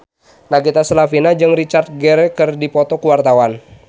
Nagita Slavina jeung Richard Gere keur dipoto ku wartawan